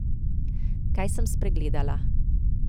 Kaj sem spregledala?